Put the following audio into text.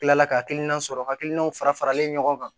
kila la ka hakilina sɔrɔ hakilinaw fara faralen ɲɔgɔn kan